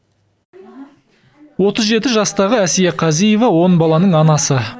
отыз жеті жастағы әсия қазиева он баланың анасы